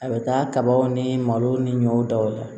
A bɛ taa kabaw ni malo ni ɲɔ daw la